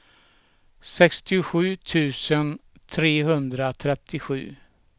sextiosju tusen trehundratrettiosju